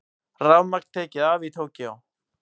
Rafmagn tekið af Tókýó